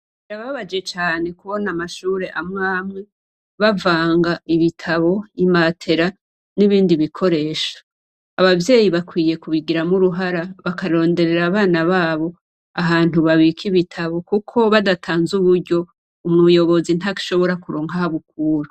Birababaje cane kubona amashure amwe amwe bavanga ibitabu, matera nibindi bikoresho. Ababyeyi bakwiriye kubigiramwo uruhara bakaronderera abana babo ahantu babika ibitabu kuko badatanze uburyo umuyobozi ntashobora kuronka aho Abukura.